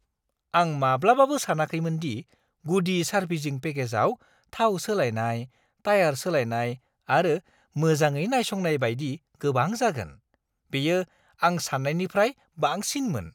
आं माब्लाबाबो सानाखैमोन दि गुदि सार्भिसिं पेकेजआव थाव सोलायनाय, टाया'र सोलायनाय आरो मोजाङै नायसंनाय बायदि गोबां जागोन। बेयो आं सान्नायनिफ्राय बांसिनमोन!